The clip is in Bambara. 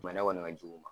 Bana kɔni ka jugu